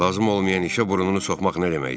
Lazım olmayan işə burnunu soxmaq nə deməkdir?